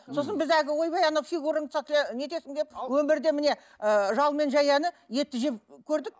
сосын біз әлгі ойбай ана фигурамды нетесің деп өмірде міне ы жал мен жаяны етті жеп көрдік